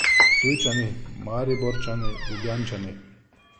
Ptujčani, Mariborčani, Ljubljančani.